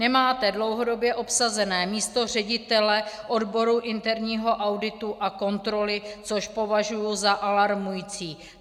Nemáte dlouhodobě obsazené místo ředitele odboru interního auditu a kontroly, což považuji za alarmující.